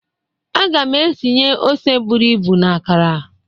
Aga m etinye ose buru ibu na akara